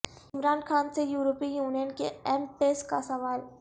عمران خان سے European union کے M Ps کا سوال